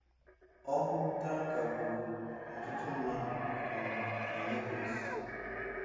Ọkụ tanka gburu ọtụtụ mmadụ um na Lagos